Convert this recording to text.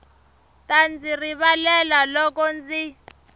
ta ndzi rivalela loko ndzi